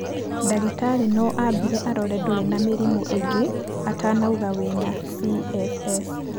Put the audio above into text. Ndagĩtarĩ no ambire arore ndũrĩ na mĩrimũ ĩngĩ atanauga wĩna CFS.